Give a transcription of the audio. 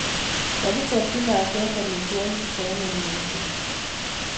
Kakichapchi lakwet amitwogik che anyiny mising